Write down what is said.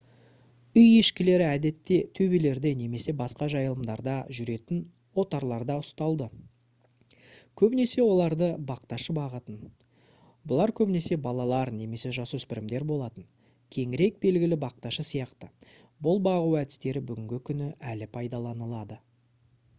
үй ешкілері әдетте төбелерде немесе басқа жайылымдарда жүретін отарларда ұсталды көбінесе оларды бақташы бағатын бұлар көбінесе балалар немесе жасөспірімдер болатын кеңірек белгілі бақташы сияқты бұл бағу әдістері бүгінгі күні әлі пайдаланылады